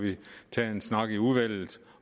tage en snak i udvalget